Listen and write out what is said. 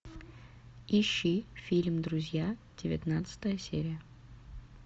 ищи фильм друзья девятнадцатая серия